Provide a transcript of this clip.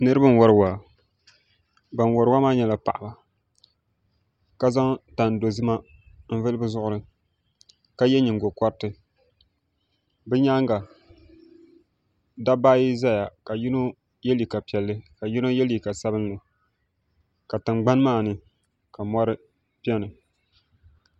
Niraba n wori waa ban wori waa maa nyɛla paɣaba ka zaŋ tani dozima n vuli bi zuɣuri ka yɛ nyingokoriti bi nyaanga dabba ayi ʒɛya ka yino yɛ liiga piɛlli ka yino yɛ liiga sabinli ka tingbani maa ni ka mɔri biɛni